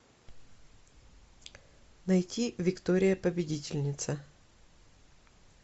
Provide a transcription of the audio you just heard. найти виктория победительница